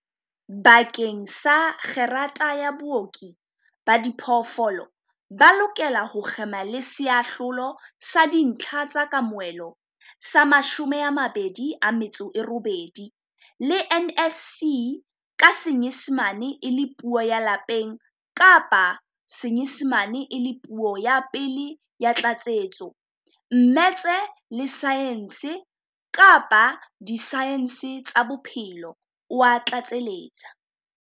"Bakeng sa kgerata ya Booki ba Diphoofolo, ba lokela ho kgema le Seahlolo sa Dintlha tsa Kamohelo sa 28 le NSC ka Senyesemane e le Puo ya Lapeng kapa Senyesemane e le Puo ya Pele ya Tlatsetso, mmetse, le saense kapa disaense tsa bophelo," o a tlatseletsa.